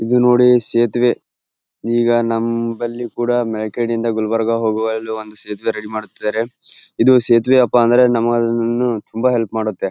ಇದು ನೋಡಿ ಸೇತುವೆ ಈಗ ನಂಬಲಿ ಕೂಡ ಮೆಕಡೆಯಿಂದ ಗುಲ್ಬರ್ಗ ಹೋಗವ ಅಲ್ಲಿ ಒಂದು ಸೇತುವೆ ರೆಡಿ ಮಾಡುತಿದ್ದರೆ ಇದು ಸೇತುವೆ ಅಪ್ಪ ಅಂದ್ರೆ ನಮಗೆ ತುಂಬ ಹೆಲ್ಪ್ ಮಾಡುತ್ತೆ .